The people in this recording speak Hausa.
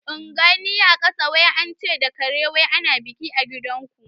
In gani a kasa; wai ance da kare ana biki a gidan ku